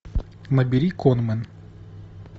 набери конмэн